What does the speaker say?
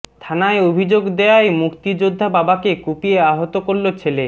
থানায় অভিযোগ দেয়ায় মুক্তিযোদ্ধা বাবাকে কুপিয়ে আহত করল ছেলে